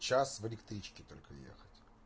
чяс в электричке только ехать